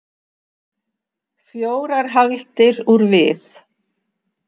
Fjórar hagldir úr við.